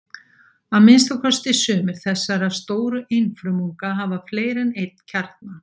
Að minnsta kosti sumir þessara stóru einfrumunga hafa fleiri en einn kjarna.